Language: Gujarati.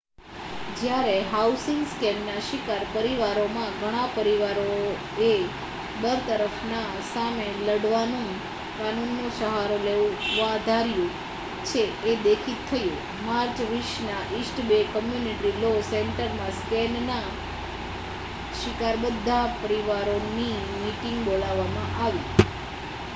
જયારે હાઉસિંગ સ્કેમના શિકાર પરિવારોમાંથી ઘણા પરિવારોએ બરતરફના સામે લઢવા કાનૂન નો સહારો લેવા ધાર્યું છે એ દેખિત થયુ માર્ચ 20ના ઇસ્ટ બે કમ્યુનિટી લૉ સેન્ટરમાં સ્કેમ ના શિકાર બધા પરિવારોની મિટિંગ બોલાવામાં આવી હતી